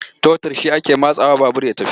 Totur shi ake matsawa babur ya tafi.